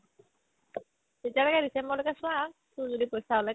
তেতিয়ালৈকে ডিচেম্বৰলৈ চোৱা তোৰ যদি পইচা ওলাই